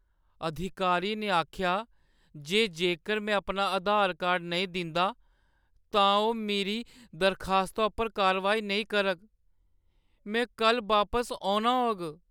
अधिकारी ने आखेआ जे जेकर में अपना आधार कार्ड नेईं दिंदा, तां ओह् मेरी दरखास्ता उप्पर कारवाई नेईं करग। में कल्ल बापस औना होग।